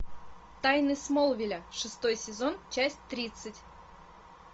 тайны смолвиля шестой сезон часть тридцать